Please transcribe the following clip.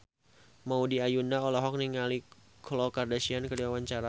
Maudy Ayunda olohok ningali Khloe Kardashian keur diwawancara